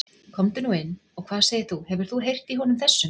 Komdu nú inn og hvað segir þú, hefur þú heyrt í honum þessum?